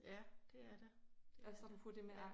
Ja det er det det er det ja